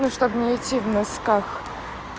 ну чтобы не идти в носках